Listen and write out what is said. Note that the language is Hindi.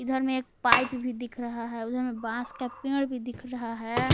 इधर में एक पाइप भी दिख रहा है उधर में एक बास का पेड़ भी दिख रहा है।